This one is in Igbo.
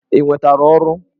Ị nwetara ọrụ?